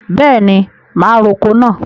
Bẹẹni, ma roko náà.